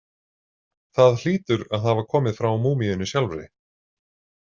Það hlýtur að hafa komið frá múmíunni sjálfri.